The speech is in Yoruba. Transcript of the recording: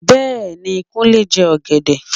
Bẹ́ẹ̀ni, Kúnlé ń jẹ ọ̀gẹ̀dẹ